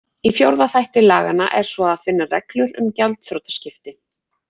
Í fjórða þætti laganna er svo að finna reglur um gjaldþrotaskipti.